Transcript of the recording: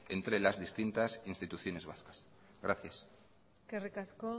entre las distintas instituciones vascas gracias eskerrik asko